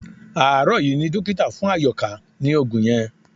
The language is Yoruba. Àárò yí ni dókítà fún Àyòká ní òògùn yẹn